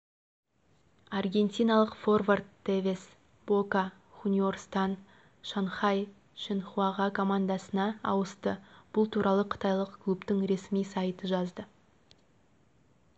аргентиналық форвард тевес бока хуниорстан шанхай шеньхуаға командасына ауысты бұл туралы қытайлық клубтың ресми сайты жазды